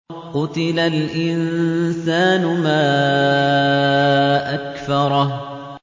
قُتِلَ الْإِنسَانُ مَا أَكْفَرَهُ